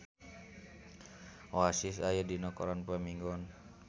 Oasis aya dina koran poe Minggon